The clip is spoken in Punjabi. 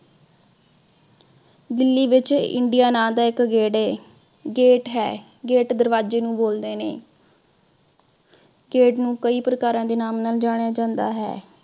ਦਿੱਲੀ ਵਿਚ india ਨਾਂ ਦਾ ਇਕ gate ਏ gate ਹੈ। gate ਦਰਵਾਜੇ ਨੂੰ ਬੋਲਦੇ ਨੇ। gate ਨੂੰ ਕਈ ਪ੍ਰਕਾਰ ਦੇ ਨਾਮ ਨਾਲ ਜਾਣਿਆ ਜਾਂਦਾ ਹੈ।